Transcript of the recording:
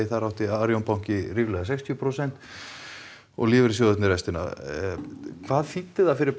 þar átti arionbanki ríflega sextíu prósent og lífeyrissjóðir rest hvað þýddi það fyrir